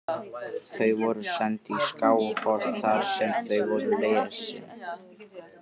Þau voru send í Skálholt þar sem þau voru lesin.